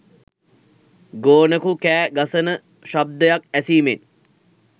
ගෝනකු කෑ ගසන ශබ්දයක් ඇසීමෙන්